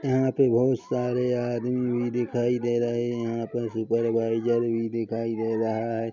यहाँ पे बहुत सारे आदमी भी दिखाई दे रहे है यहाँ पे सुपरवाइजर भी दिखाई दे रहा है।